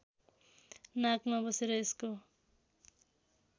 नाकमा बसेर यसको